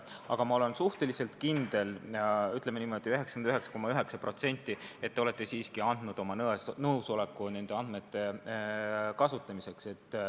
Aga ma olen suhteliselt kindel – ütleme, 99,9% kindel –, et te olete siiski andnud oma nõusoleku nende andmete kasutamiseks.